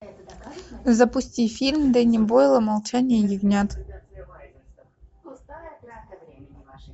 запусти фильм дэнни бойла молчание ягнят